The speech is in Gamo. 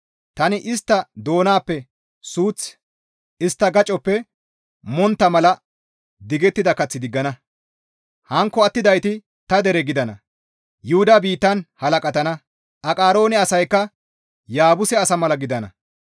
Tani istta doonappe suuth, istta gacoppe montta mala digettida kath diggana; hankko attidayti ta dere gidana; Yuhuda biittan halaqatana; Aqaroone asaykka Yaabuse asa mala gidana.